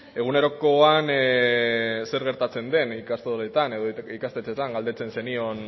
egunerokoan zer gertatzen den ikastoletan edo ikastetxetan galdetzen zenion